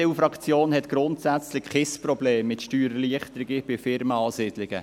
Die EDU-Fraktion hat grundsätzlich kein Problem mit Steuererleichterungen bei Unternehmensansiedlungen.